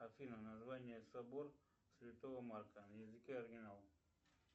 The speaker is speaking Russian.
афина название собор святого марка на языке оригинал